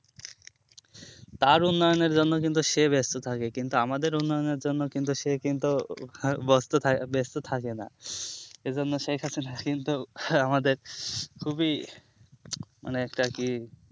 তার উন্নয়ন এর জন্য কিন্তু সে ব্যাস্ত থাকে কিন্তু আমাদের উন্নয়ন এর জন্য কিন্তু সে কিন্তু হ্যাঁ বস্তু থা ব্যাস্ত থাকে না এই জন্য শেখ হাসিন এর কিন্তু আমাদের খুবই মানে একটা কি